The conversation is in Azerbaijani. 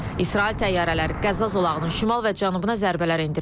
İsrail təyyarələri Qəza zolağının şimal və cənubuna zərbələr endirib.